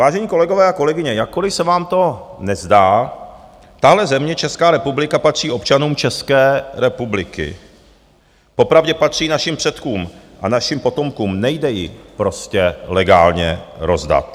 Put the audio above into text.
Vážení kolegové a kolegyně, jakkoliv se vám to nezdá, tahle země, Česká republika, patří občanům České republiky, popravdě patří našim předkům a našim potomkům, nejde ji prostě legálně rozdat.